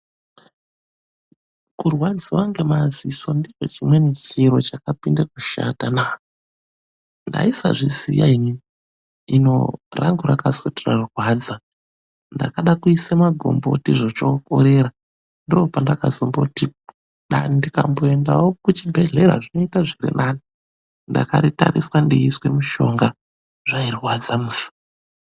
Kurwadziwa ngemadziso ndicho chimweni chiro chakapinde kushatanaa!. Ndaisazviziya inini. Hino rangu rakazoti rarwadza ndakade kuise magomboti zvochookorera, ndopandakazomboti dani ndikamboendavo kuchibhehlera zvinobaaite zvirinani. Ndakaritariswa ndechiiswe mushonga zvairwadza musi.